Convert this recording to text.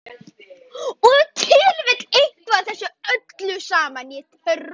Og ef til vill eitthvað af þessu öllu saman.